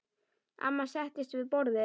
Amma settist við borðið.